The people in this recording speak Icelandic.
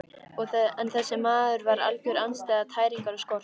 En þessi maður var algjör andstæða tæringar og skorts.